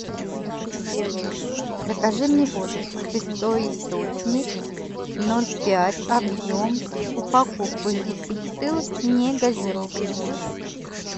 закажи мне воду святой источник ноль пять объем упаковку из десяти бутылок негазированную